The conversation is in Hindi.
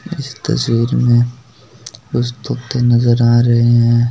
इस तस्वीर में कुछ तोते नजर आ रहे है।